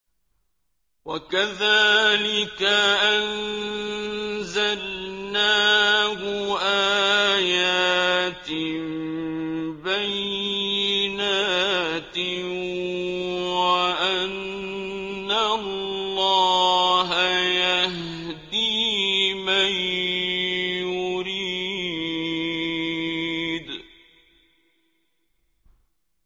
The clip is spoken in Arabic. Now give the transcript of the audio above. وَكَذَٰلِكَ أَنزَلْنَاهُ آيَاتٍ بَيِّنَاتٍ وَأَنَّ اللَّهَ يَهْدِي مَن يُرِيدُ